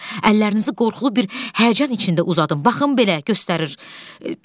Əllərinizi qorxulu bir həyəcan içində uzadım, baxın belə göstərir.